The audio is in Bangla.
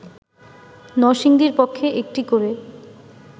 নরসিংদীর পক্ষে একটি করে